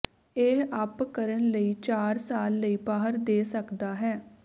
ਇਹ ਅਪ ਕਰਨ ਲਈ ਚਾਰ ਸਾਲ ਲਈ ਬਾਹਰ ਦੇ ਸਕਦਾ ਹੈ